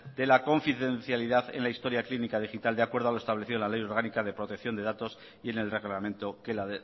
de la confidencialidad en la historia clínica digital de acuerdo a lo establecido en la ley orgánica de protección de datos y en el reglamento que la